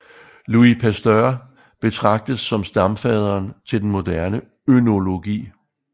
Louis Pasteur betragtes som stamfaderen til den moderne ønologi